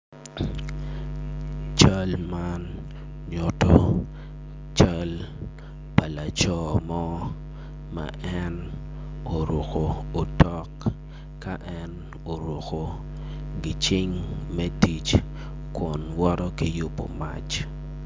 Cal man nyuto cal pa laco mo ma en oruko otok ka en oruko gicing me tic kun woto ki yubo mac.